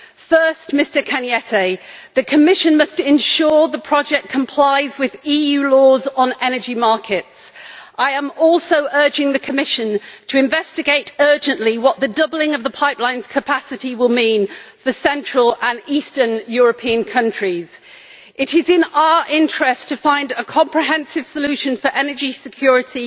First, Mr Arias Cañete, the Commission must ensure that the project complies with EU laws on energy markets. I am also urging the Commission to investigate urgently what the doubling of the pipeline's capacity will mean for the central and eastern European countries. It is in our interests to find a comprehensive solution for energy security